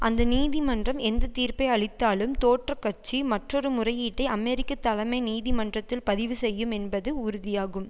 அந்த நீதிமன்றம் எந்த தீர்ப்பை அளித்தாலும் தோற்ற கட்சி மற்றொரு முறையீட்டை அமெரிக்க தலைமை நீதிமன்றத்தில் பதிவு செய்யும் என்பது உறுதியாகும்